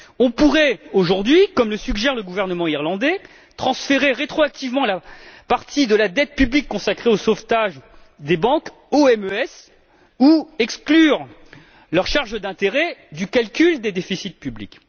On pourrait, aujourd'hui, comme le suggère le gouvernement irlandais, transférer rétroactivement la partie de la dette publique consacrée au sauvetage des banques au MES ou exclure leurs charges d'intérêt du calcul des déficits publics.